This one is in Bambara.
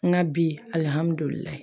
N ka bi alihamudulilayi